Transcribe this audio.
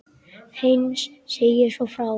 Heinz segir svo frá: